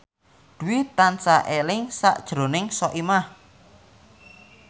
Dwi tansah eling sakjroning Soimah